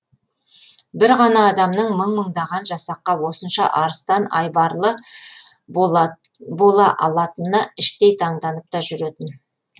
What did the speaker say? бір ғана адамның мың мыңдаған жасаққа осынша арыстан айбарлы бола алатынына іштей таңданып та жүретін